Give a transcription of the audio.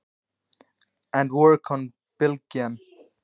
Og vinna á Bylgjunni?